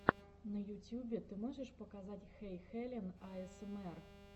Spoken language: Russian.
на ютюбе ты можешь показать хэйхелен аэсэмэр